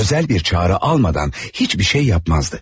Özel bir çağrı almadan hiçbir şey yapmazdı.